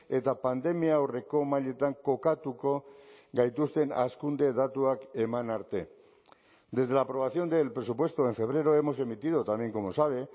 eta pandemia aurreko mailetan kokatuko gaituzten hazkunde datuak eman arte desde la aprobación del presupuesto en febrero hemos emitido también como sabe